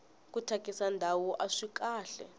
ku thyakisa ndhawu aswi kahle